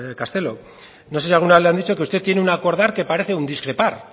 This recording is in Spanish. castelo no sé si alguna vez le han dicho que usted tiene un acordar que parece un discrepar